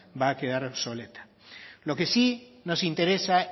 va a quedar obsoleta lo que sí nos interesa